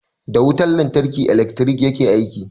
Da wutar lantarki ilekri yake aiki.